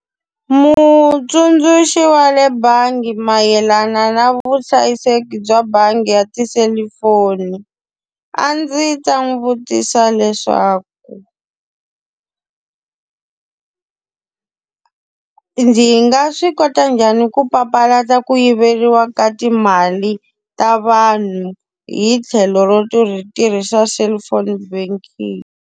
Mutsundzuxi wa le bangi mayelana na vuhlayiseki bya bangi ya tiselifoni, a ndzi ta n'wi vutisa leswaku ndzi nga swi kota njhani ku papalata ku yiveriwa ka timali ta vanhu hi tlhelo ro tirhisa cellphone banking?